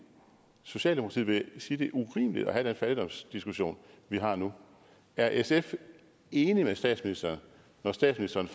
socialdemokratiet vil sige at det er urimeligt at have den fattigdomsdiskussion vi har nu er sf enig med statsministeren når statsministeren